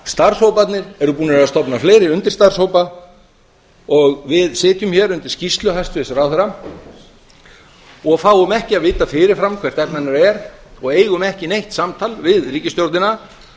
starfshóparnir eru búnir að stofna fleiri undirstarfshópa og við sitjum hér undir skýrslu hæstvirts ráðherra og fáum ekki að vita fyrirfram hvert efni hennar er og eigum ekki neitt samtal við ríkisstjórnina